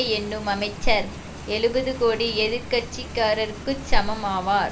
எண்ணும் அமைச்சர் எழுபது கோடி எதிர்கட்சிக்காரருக்குச் சமம் ஆவார்